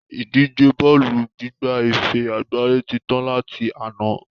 Ìdíje bọ́ọ́lù gbigba ife àgbáyé tí tán láti àná